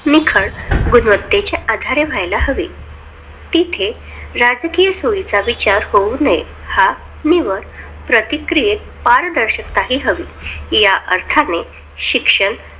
निखळ गुणवतेच्या आधारे होयला हवे तिथे राजकीय सोयीचा विचार होऊ नये. हा निवड प्रतिक्रियेत पारदर्शिकता हि हवी या अर्थाने शिक्षण